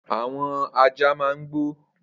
Awọn àjá mà n gbó